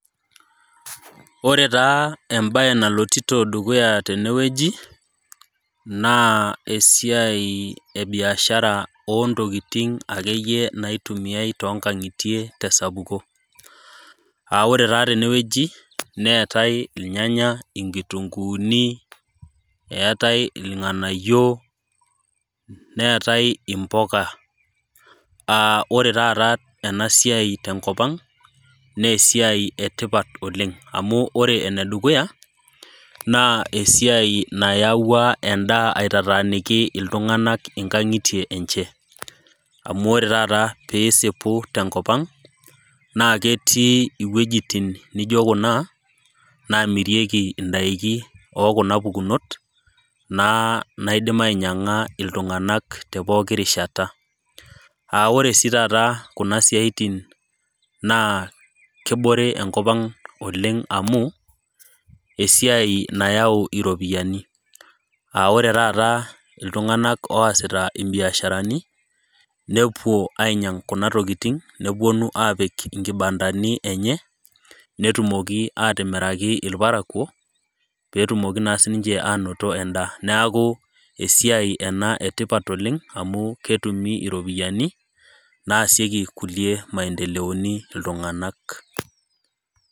Ore taa embae naloito dukuya tenewueji naa esiai ebiashara oo ntokitin akeyie naitumiai too nkang'itie tee sapuko aa ore tenewuaji neetai irnganya, nkitunguni irng'anayio neetae mbuka ore taata enasiai tenkop naa esiai etipat oleng amu ore enedukuya naa esiai nayaua endaa atinyikaki iltung'ana enkangitie enye amu ore taata pee esipu tenkop ang naa ketii ewuejitin naijio Kuna namirieki endakii ekuna pukunot naidim ainyiang'a iltung'ana tee pooki rishata ore sii taata Kuna siatin naa kebore enkop Ang oleng amu esiai nayau eropiani aa ore taata iltung'ana ositaa biasharani nepuo ainyig Kuna tokitin nepuonu apik enkibandani enye netumoki atimiraki irparakuo pee tumoki naa sininche anoto endaa neeku esiai etipat ena oleng amu ketumi eropiani naasiekie kulie maendeleoni iltung'ana